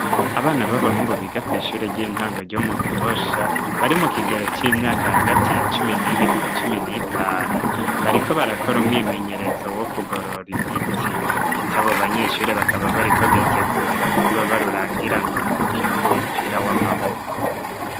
Abana b'abahungu biga kw'ishure ry'intango ryo mu gihosha bari mu kigero c'imyaka hagati ya cumi n'ibiri na cumi n'itanu bariko barakora umwimenyerezo wo kugorora imitsi, ndetse abo banyeshuri bakaba bariko bitegurira kuzoba rurangiranwa mu rukino rw'umupira w'amaboko.